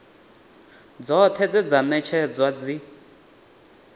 dzoṱhe dze dza ṅetshedzwa dzi